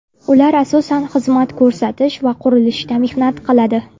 Ular asosan xizmat ko‘rsatish va qurilishda mehnat qiladi.